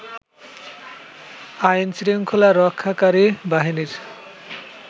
আইন শৃংখলা রক্ষাকারী বাহিনীর